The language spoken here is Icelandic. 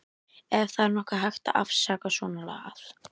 Ef það er nokkuð hægt að afsaka svonalagað.